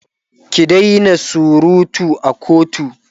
ki Daina surutu a kotu!